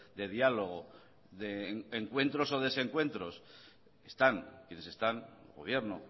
de diálogo de encuentros o desencuentros están quienes están gobierno